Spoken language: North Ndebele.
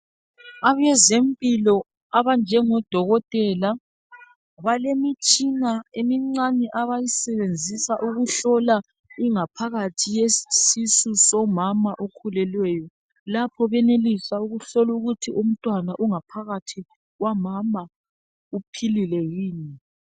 Abezempilo abanjengo dokotela balemitshina emincane abayisebenzisa ukuhlola ingaphakathi yesisu somama okhulelweyo lapho benelisa ukuhlokuthi umntwana ongaphakathi kwamama uphilile yini .